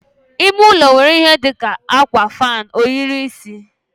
ime ụlọ nwere ihe ndị dị mkpa dị ka, akwa, fan, ohiri isi wdg.